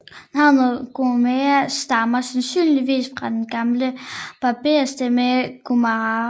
Navnet Gomera stammer sandsynligvis fra den gamle berberstamme Ghomara